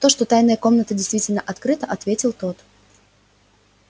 то что тайная комната действительно открыта ответил тот